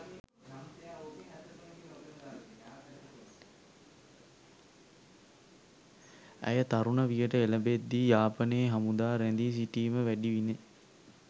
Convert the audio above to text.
ඇය තරුණ වියට එළඹෙද්දී යාපනයේ හමුදා රැඳී සිටීම වැඩි විණි